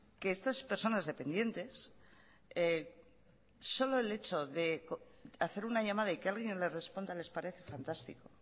que estas personas dependientes solo el hecho de hacer una llamada y que alguien les responda les parece fantástico